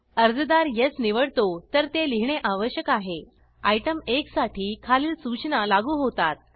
अर्जदार येस निवडतो तर ते लिहिणे आवश्यक आहे आयटम 1साठी खालील सूचना लागू होतात